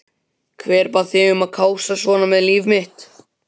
Hver bað þig um að kássast svona með líf mitt?